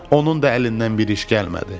Onun da əlindən bir iş gəlmədi.